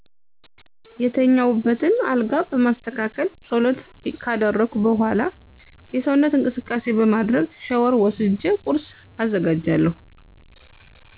የተኛውበትን አልጋ በማስተካከል ጸሎት ካደረኩ በዃላ የሰውነት እንቅስቃሴ በማድረግ ሻወር ወስጀ ቁርስ አዘጋጃለሁ